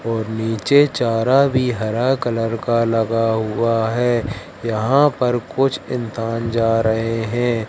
और नीचे चारा भी हरा कलर का लगा हुआ है। यहां पर कुछ इंसान जा रहे है।